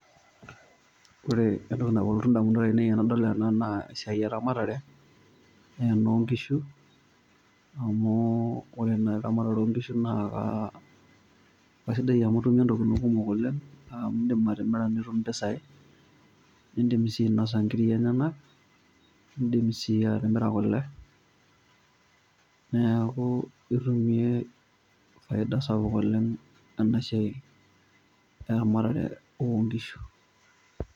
Ore entoki nalotu indamunot ainei tenadol ena, naa esiai eramatare, ne enonkishu, amu ore naa eramatare onkishu naa, kasidai amu itumie intokiting kumok oleng, amu idim atimira nitum impisai, nidim si ainosa nkiri enyanak, nidim si atimira kule. Neeku itumie faida sapuk oleng, enasiai eramatare onkishu.